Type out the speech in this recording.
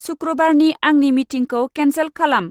सुक्रुबारनि आंनि मिटिंखौ केनसेल खालाम।